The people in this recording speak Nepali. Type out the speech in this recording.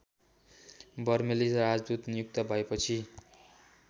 बर्मेली राजदूत नियुक्त भएपछि